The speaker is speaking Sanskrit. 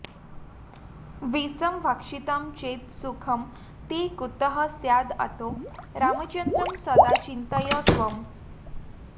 विषं भक्षितं चेत् सुखं ते कुतः स्याद् अतो रामचन्द्रं सदा चिन्तय त्वम्